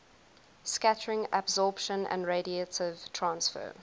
scattering absorption and radiative transfer